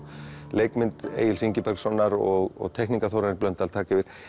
leikmynd Egils Ingibergssonar og Þórarins Blöndal taka yfir